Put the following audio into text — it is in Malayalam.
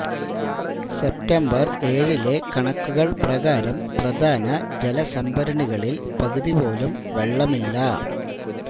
സെപ്റ്റംബര് ഏഴിലെ കണക്കുകള് പ്രകാരം പ്രധാന ജലസംഭരണികളില് പകുതി പോലും വെള്ളമില്ല